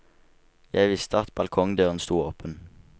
Jeg visste at balkongdøren sto åpen.